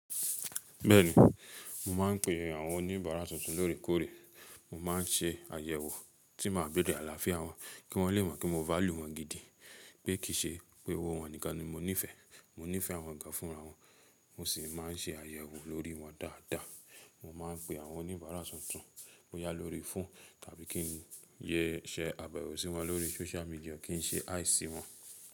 Bẹ́ẹ̀ni, mo máà ń pe àwọn oníbàárà tuntun lóòrèkóòrè, mo máa ń ṣe àyẹ̀wò tí màá béèrè àlàáfíà wọn, kí wọ́n lè mọ̀ pé mo value wọn gidi pé kì í ṣe pé owó wọn nìkan ni mo nífẹ̀ẹ́. Mo nífẹ̀ẹ́ àwọn gán fúnra wọn, mo sì máà ń ṣe àyẹ̀wò lórí wọn dáadáa. Mo máa ń pe àwọn oníbàárà tuntun, mo yá lórí foonu, tàbí kí n yẹ ṣẹ́ àbẹ̀wò sí wọn lórí social media, kí n ṣe hi sí wọn.